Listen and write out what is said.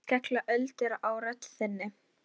Hvað heldurðu að ég myndi gera?